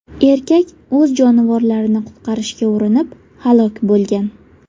Erkak o‘z jonivorlarini qutqarishga urinib, halok bo‘lgan.